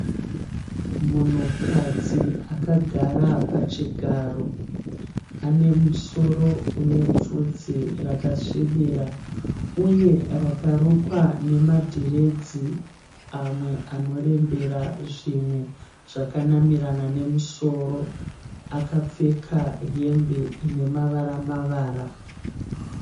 Munhukadzi akagara pachigaro. Ane musoro une bvudzi rakasvibira uye rakarukwa nemadhiredzi amwe anorembera zvimwe zvakanamirana nemusoro. Akapfeka hembe ine mavara mavara.